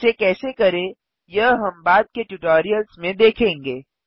इसे कैसे करें यह हम बाद के ट्यूटोरियल्स में देखेंगे